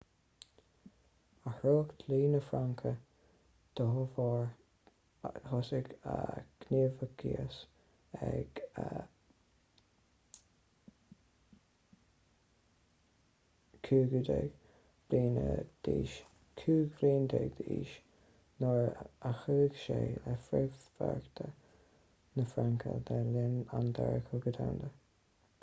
athraíodh dlí na fraince dá bharr thosaigh a ghníomhaíochas ag 15 bliain d'aois nuair a chuaigh sé le frithbheartaíocht na fraince le linn an dara cogadh domhanda